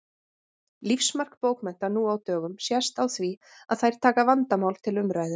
Lífsmark bókmennta nú á dögum sést á því að þær taka vandamál til umræðu.